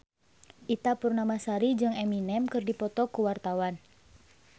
Ita Purnamasari jeung Eminem keur dipoto ku wartawan